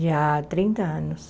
Já há trinta anos.